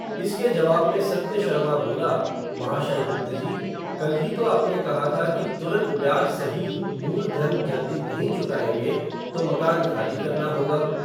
इसके जवाब में सत्य शर्मा बोला, महाशय गुप्तजी, कल ही तो आपने कहा था कि, तुरंत ब्याज सहील मूल धन जल्दी नहीं चुकाएंगे, तो मकान ख़ाली करना होगा